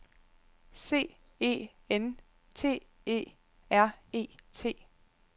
C E N T E R E T